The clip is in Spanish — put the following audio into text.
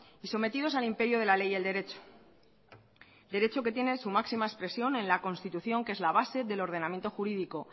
y sometidos al imperio de la ley y el derecho derecho que tiene su máxima expresión en la constitución que es la base del ordenamiento jurídico